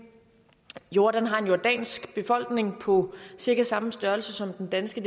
jordan har en jordansk befolkning på cirka samme størrelse som den danske